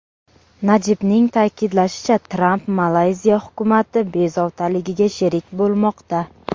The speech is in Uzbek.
Najibning ta’kidlashicha, Tramp Malayziya hukumati bezovtaligiga sherik bo‘lmoqda.